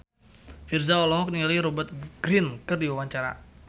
Virzha olohok ningali Rupert Grin keur diwawancara